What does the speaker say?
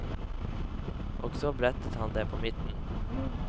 Og så brettet han det på midten.